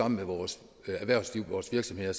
med vores erhvervsliv og vores virksomheder